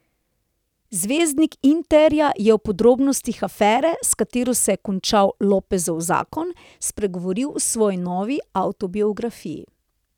Zvezdnik Interja je o podrobnostih afere, s katero se je končal Lopezov zakon, spregovoril v svoji novi avtobiografiji.